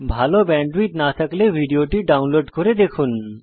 ভাল ব্যান্ডউইডথ না থাকলে ভিডিওটি ডাউনলোড করে দেখুন